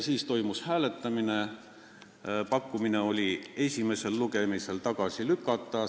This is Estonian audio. Siis toimus hääletamine, kas tuleks eelnõu esimesel lugemisel tagasi lükata.